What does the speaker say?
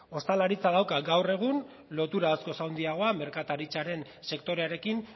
ostalaritzak dauka gaur egun lotura askoz handiagoa merkataritzaren sektorearekin